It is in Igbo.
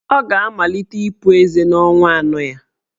Ọ ga-amalite ịpu ezé n'ọnwa anọ ya.